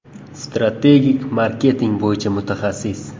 Strategik marketing bo‘yicha mutaxassis.